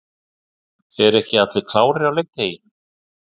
Eru ekki allir klárir á leikdegi?